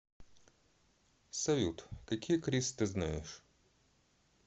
салют какие крис ты знаешь